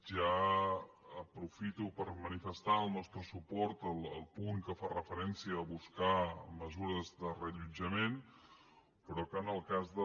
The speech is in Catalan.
ja aprofito per manifestar el nostre suport al punt que fa referència a buscar mesures de reallotjament però que en el cas de